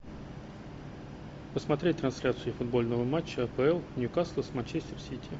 посмотреть трансляцию футбольного матча апл ньюкасл с манчестер сити